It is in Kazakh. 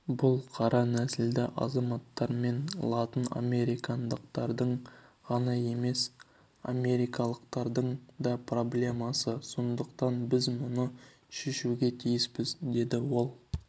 бұл қара нәсілді азаматтар мен латын америкалықтардың ғана емес америкалықтардың да проблемасы сондықтан біз мұны шешуге тиіспіз деді ол